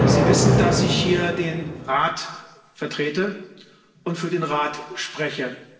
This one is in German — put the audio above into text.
Sie wissen, dass ich hier den Rat vertrete und für den Rat spreche